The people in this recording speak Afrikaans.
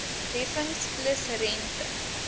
heffings plus rente